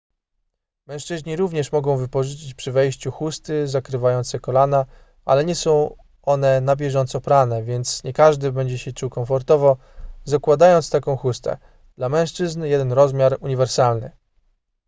mężczyźni również mogą wypożyczyć przy wejściu chusty zakrywające kolana ale nie są one na bieżąco prane więc nie każdy będzie się czuł komfortowo zakładając taką chustę dla mężczyzn jeden rozmiar uniwersalny